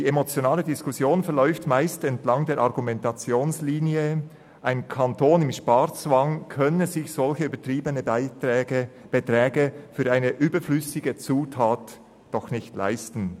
Die emotionale Diskussion verläuft meist entlang einer Argumentationslinie, die besagt, ein Kanton im Sparzwang könne sich solch übertriebene Beträge für eine überflüssige Zutat doch nicht leisten.